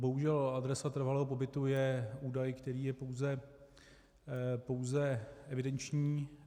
Bohužel, adresa trvalého pobytu je údaj, který je pouze evidenční.